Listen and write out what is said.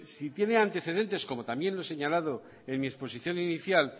si tiene antecedentes como también lo he señalado en mi exposición inicial